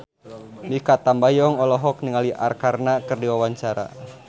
Mikha Tambayong olohok ningali Arkarna keur diwawancara